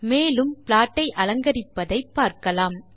மேலும் ப்ளாட் ஐ அலங்கரிப்பதை பார்க்கலாம்